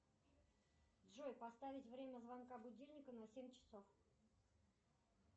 джой поставить время звонка будильника на семь часов